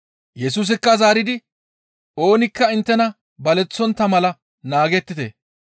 Yesusikka zaaridi, «Oonikka inttena baleththontta mala naagettite.